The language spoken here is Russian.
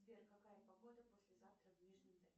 сбер какая погода послезавтра в нижнем тагиле